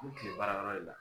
K'u bi tile baarayɔrɔ de la